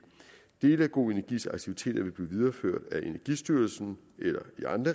dele af go energis aktiviteter vil blive videreført af energistyrelsen